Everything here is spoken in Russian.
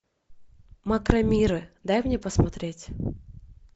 макромиры дай мне посмотреть